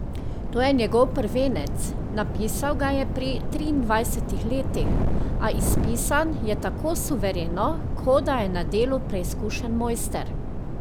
To je njegov prvenec, napisal ga je pri triindvajsetih letih, a izpisan je tako suvereno, kot da je na delu preizkušen mojster.